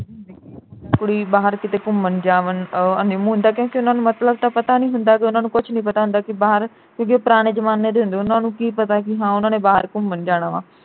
ਕੁੜੀ ਬਾਹਰ ਕਿਤੇ ਘੁੰਮਣ ਜਾਵਣ ਅਹ honeymoon ਦਾ ਕਹਿ ਕੇ ਉਨ੍ਹਾਂ ਨੂੰ ਮਤਲਬ ਤਾ ਪਤਾ ਨਹੀਂ ਹੁੰਦਾ ਕਿ ਉਨ੍ਹਾਂ ਨੂੰ ਕੁਛ ਨੀ ਪਤਾ ਹੁੰਦਾ ਕਿ ਬਾਹਰ ਕਿਉਕਿ ਉਹ ਪੁਰਾਣੇ ਜਮਾਨੇ ਦੇ ਹੁੰਦੇ ਉਨ੍ਹਾਂ ਨੂੰ ਕੀ ਪਤਾ ਕਿ ਹਾਂ ਉਨ੍ਹਾਂ ਨੇ ਬਾਹਰ ਘੁੰਮਣ ਜਾਣਾ ਵਾਂ।